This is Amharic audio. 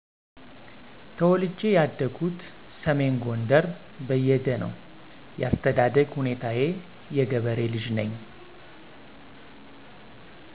ተወልጀ ያደግሁት ሰሜን ጎንደር በየደ ነው ያስተዳደግ ሁኔታየ የገበሬ ልጅ ነኝ